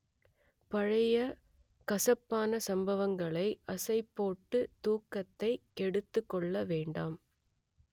பழைய கசப்பான சம்பவங்களை அசைப் போட்டு தூக்கத்தை கெடுத்துக் கொள்ள வேண்டாம்